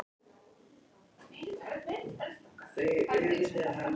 Eru þarna frumgögnin að þeim glugga.